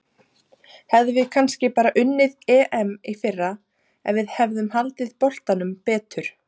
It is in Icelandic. Hefðum við kannski bara unnið EM í fyrra ef við hefðum haldið boltanum betur?